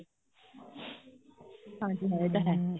ਹਾਂਜੀ ਹਾਂ ਇਹ ਤਾਂ ਹੈ